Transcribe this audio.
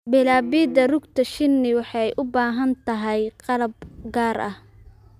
Bilaabidda rugta shinni waxay u baahan tahay qalab gaar ah.